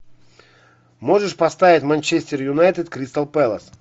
можешь поставить манчестер юнайтед кристал пэлас